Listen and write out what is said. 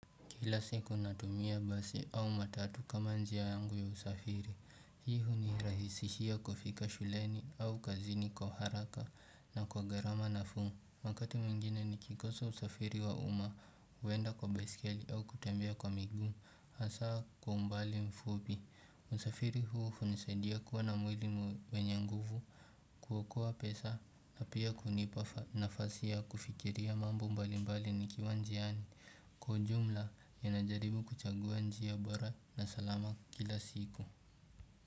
Kila siku natumia basi au matatu kama njia yangu ya usafiri. Hii hunirahisishia kufika shuleni au kazini kwa haraka na kwa gharama nafuu. Wakati mwingine ni kikosa usafiri wa uma huenda kwa beskeli au kutembea kwa miguu. Hasa kwa umbali mfupi. Usafiri huu hunisadia kuwa na mwili mwenye nguvu kuokoa pesa na pia kunipa nafasi ya kufikiria mambo mbali mbali nikiwa njiani. Kwa ujumla ninajaribu kuchagu njia bora na salama kila siku.